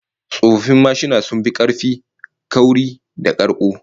Old motorcycles were built much sturdier and more durable than present